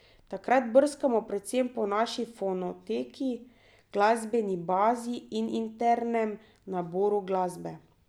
Takrat brskamo predvsem po naši fonoteki, glasbeni bazi in internem naboru glasbe.